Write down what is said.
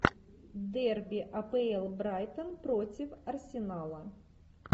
дерби апл брайтон против арсенала